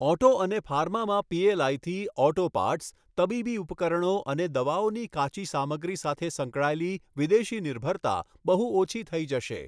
Auto અને ફાર્મામાં પીએલઆઈથી ઑટો પાર્ટ્સ, તબીબી ઉપકરણો અને દવાઓની કાચી સામગ્રી સાથે સંકળાયેલી વિદેશી નિર્ભરતા બહુ ઓછી થઈ જશે.